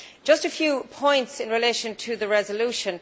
I have a few points in relation to the resolution.